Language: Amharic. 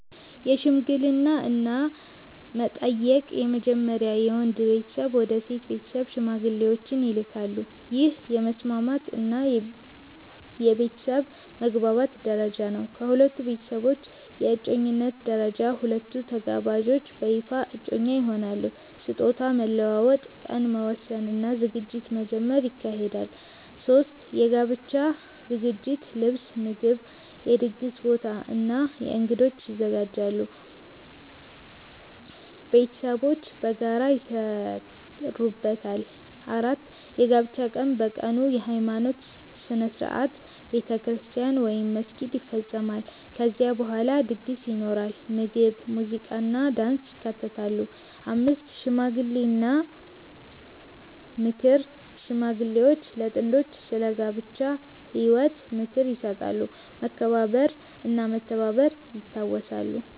1) የሽምግልና እና መጠየቅ በመጀመሪያ የወንድ ቤተሰብ ወደ ሴት ቤተሰብ ሽማግሌዎችን ይልካሉ። ይህ የመስማማት እና የቤተሰብ መግባባት ደረጃ ነው። ከሁለቱ ቤተሰቦች ስምምነት ከተገኘ በኋላ ጋብቻ ይቀጥላል። 2) የእጮኝነት ደረጃ ሁለቱ ተጋባዦች በይፋ እጮኛ ይሆናሉ። ስጦታ መለዋወጥ፣ ቀን መወሰን እና ዝግጅት መጀመር ይካሄዳል። 3) የጋብቻ ዝግጅት ልብስ፣ ምግብ፣ የድግስ ቦታ እና እንግዶች ይዘጋጃሉ። ቤተሰቦች በጋራ ይሰሩበታል። 4) የጋብቻ ቀን በቀኑ የሃይማኖት ሥነ ሥርዓት (ቤተክርስቲያን ወይም መስጊድ) ይፈጸማል። ከዚያ በኋላ ድግስ ይኖራል፣ ምግብ፣ ሙዚቃ እና ዳንስ ይካተታሉ። 5) ሽምግልና እና ምክር ሽማግሌዎች ለጥንዶቹ ስለ ጋብቻ ህይወት ምክር ይሰጣሉ፣ መከባበር እና መተባበር ይታወሳሉ።